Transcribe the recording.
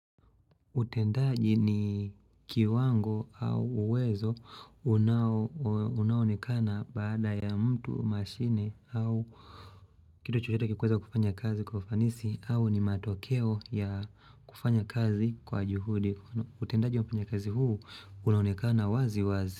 Utendaji ni kiwango au uwezo unao unaoonekana baada ya mtu, mashine au kito chochote kikiweza kufanya kazi kufanisi au ni matokeo ya kufanya kazi kwa juhudi. Utendaji wa kufanya kazi huu unaonekana wazi wazi.